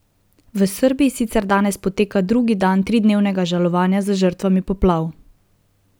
V Srbiji sicer danes poteka drugi dan tridnevnega žalovanja za žrtvami poplav.